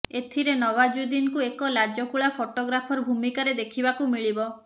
ଏଥିରେ ନୱାଜୁଦ୍ଦିନ୍ଙ୍କୁ ଏକ ଲାଜକୁଳା ଫଟୋଗ୍ରାଫର ଭୂମିକାରେ ଦେଖିବାକୁ ମିଳିବ